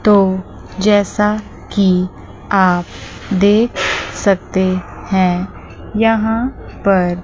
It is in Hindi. तो जैसा कि आप देख सकते हैं यहां पर--